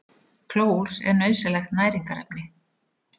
Klór er nauðsynlegt næringarefni.